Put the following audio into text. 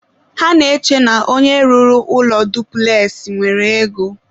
ha na-eche na onye rụrụ ụlọ dupules nwere ego.